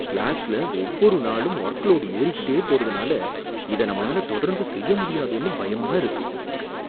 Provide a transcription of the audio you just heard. கிளாஸ்ல ஒவ்வொரு நாளும் ஒர்க் லோட் ஏறிகிட்டே போறதுனால இத நம்மளால தொடர்ந்து செய்ய முடியாதோனு பயமா இருக்கு.